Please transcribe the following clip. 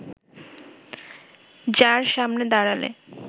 যার সামনে দাড়ালে